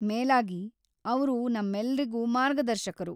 ಮೇಲಾಗಿ, ಅವ್ರು ನಮ್ಮೆಲ್ರಿಗೂ ಮಾರ್ಗದರ್ಶಕರು.